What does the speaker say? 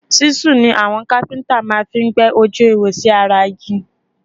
Ṣíṣù ni àwọn kápẹ́ntà máa fí ń gbẹ́ ojú ihò sí ara igi